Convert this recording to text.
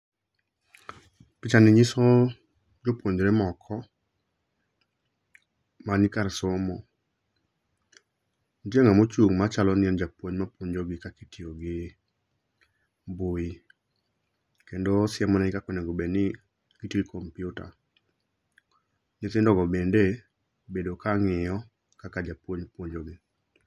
Picha ni nyiso jo puonjre moko ma ni kar somo nitie ngama ochung ma chalo ni en ja puonj ma puonjo gi kaka itiyo gi mbui kendo osiemo ne gi kaka onego bed ni itiyo gi computer nyithindo go bende obedo ka ngiyo kaka ja puonj puonjo gi